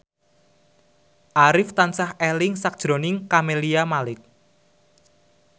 Arif tansah eling sakjroning Camelia Malik